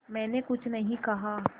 मैंने कुछ नहीं कहा